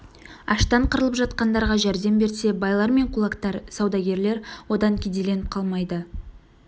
аштан қырылып жатқандарға жәрдем берсе байлар мен кулактар саудагерлер одан кедейленіп қалмайды